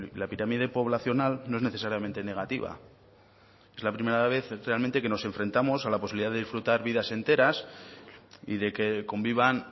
la pirámide poblacional no es necesariamente negativa es la primera vez realmente que nos enfrentamos a la posibilidad de disfrutar vidas enteras y de que convivan